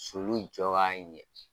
Sulu jɔ ka ɲɛ.